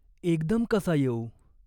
एकदम कसा येऊ ?